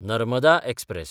Narmada express